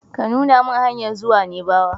Ka nuna min hanyar zuwa naibawa!